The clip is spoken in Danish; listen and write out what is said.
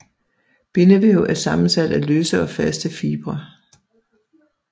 Bindevæv er sammensat af løse og faste fibre